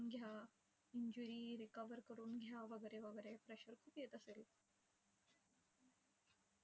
घ्या, injury recover घ्या वगैरे-वगैरे pressure खूप येत असेल.